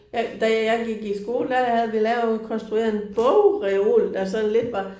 Jeg da jeg gik i skole der havde vi lavet konstrueret en bogreol der sådan lidt var